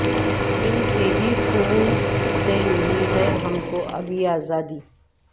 ان کے ہی خون سے ملی ہے ہم کو اب یہ ازادی